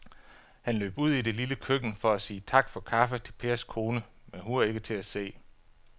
Han løb ud i det lille køkken for at sige tak for kaffe til Pers kone, men hun var ikke til at se.